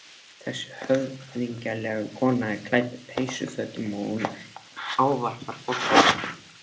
Þessi höfðinglega kona er klædd peysufötum og hún ávarpar forseta.